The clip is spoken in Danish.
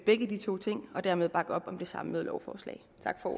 begge de to ting og dermed bakke op om det samlede lovforslag